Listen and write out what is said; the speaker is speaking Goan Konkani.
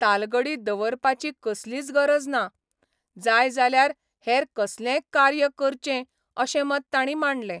तालगडी दवरपाची कसलीच गरज ना, जाय जाल्यार हेर कसलेंय कार्य करचें अशें मत तांणी मांडलें.